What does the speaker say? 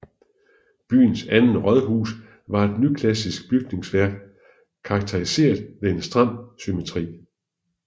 Byens andet rådhus var et nyklassicistisk bygningsværk karakteriseret ved en stram symmetri